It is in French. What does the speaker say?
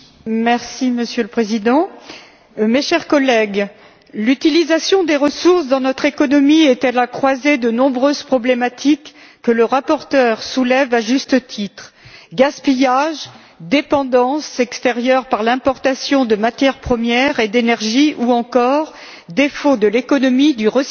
Monsieur le Président, mes chers collègues, l'utilisation des ressources dans notre économie est à la croisée de nombreux problèmes que le rapporteur soulève à juste titre gaspillage, dépendance vis à vis de l'extérieur pour l'importation de matières premières et d'énergie ou encore défaut de l'économie du recyclage.